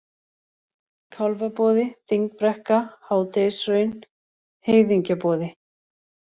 Kálfaboði, Þingbrekka, Hádegishraun, Heiðingjaboði